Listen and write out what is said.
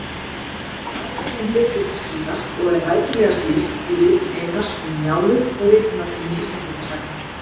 Aðferðin birtist skýrast og er rækilegast lýst í ritum Einars, Um Njálu og Ritunartími Íslendingasagna.